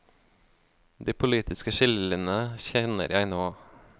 De politiske skillelinjene kjenner jeg nå.